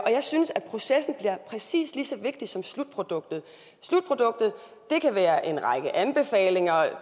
jeg synes at processen bliver præcis lige så vigtig som slutproduktet slutproduktet kan være en række anbefalinger